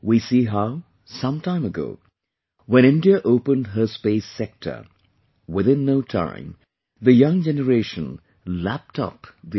We see how, some time ago, when India opened her Space Sector...within no time the young generation lapped up the opportunity